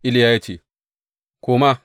Iliya ya ce, Koma!